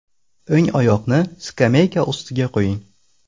O‘ng oyoqni skameyka ustiga qo‘ying.